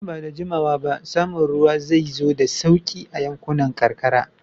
Nan ba da jimawa ba, samun ruwa zai zo da sauƙi a yankunan karkara.